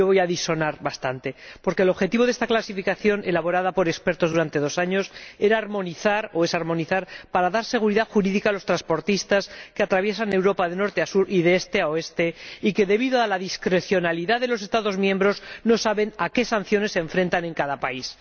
yo voy a disonar bastante, porque el objetivo de esta clasificación, elaborada por expertos durante dos años, es armonizar para dar seguridad jurídica a los transportistas que atraviesan Europa de norte a sur y de este a oeste, y que, debido a la discrecionalidad de los Estados miembros, no saben a qué sanciones se enfrentan en cada país.